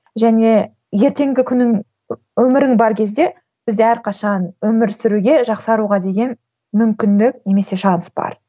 және ертеңгі күнің өмірің бар кезде бізде әрқашан өмір сүруге жақсаруға деген мүмкіндік немесе шанс бар